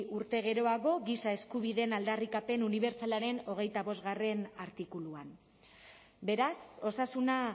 urte geroago giza eskubideen aldarrikapen unibertsalaren hogeita bostgarrena artikuluan beraz osasuna